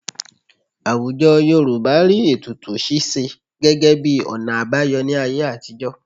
Àwùjọ Yorùbá rí ètùtù ṣíṣe gẹ́gẹ́ bí ọ̀nà àbáyọ ní ayé àtijọ́